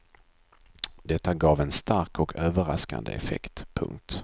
Detta gav en stark och överraskande effekt. punkt